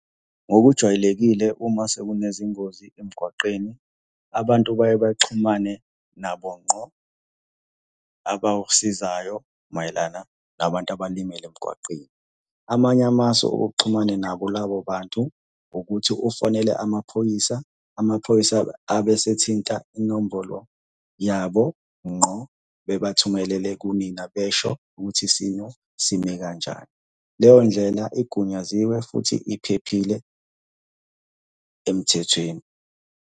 Ngokujwayelekile uma sekunezingozi emgwaqeni, abantu baye baxhumane nabo ngqo abawusizayo mayelana nabantu abalimele emgwaqeni. Amanye amasu okuxhumane nabo labo bantu, ukuthi ufonele amaphoyisa, amaphoyisa abe esethinta inombolo yabo ngqo, bebathumelele kumina besho ukuthi isimo sime kanjani. Leyo ndlela igunyaziwe futhi iphephile emthethweni.